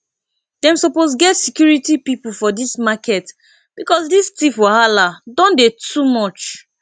dem suppose get security people for dis market because dis thief wahala don dey too much